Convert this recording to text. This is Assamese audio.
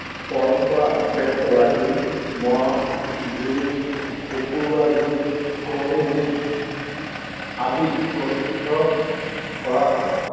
পৰম্পৰা অব্যাহত ৰাখি মহ যুঁজ, কুকুৰা যুঁজ, কণী যুঁজ আদি কৰা হয়।